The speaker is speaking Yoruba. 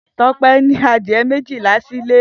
Tope ni adiẹ méjilá silé